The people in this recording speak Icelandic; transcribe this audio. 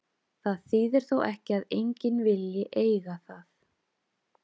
Það þýðir þó ekki að enginn vilji eiga það.